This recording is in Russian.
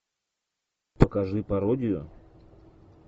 покажи пародию